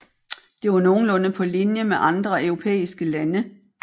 Det var nogenlunde på linje med andre europæiske lande